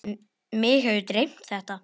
Mig hefur dreymt þetta.